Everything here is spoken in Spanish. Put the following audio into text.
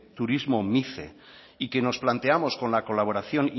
turismo mice y que nos planteamos con la colaboración